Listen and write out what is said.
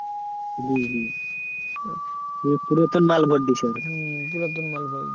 হম হম পুরাতন মাল ভরে দিয়েছে হয়তো